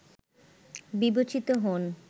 বিবেচিত হন